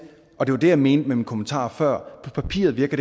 og det var det jeg mente med min kommentar før der på papiret virker